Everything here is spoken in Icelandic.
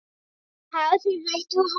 Hafið þið rætt við hann?